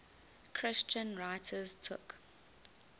christian writers took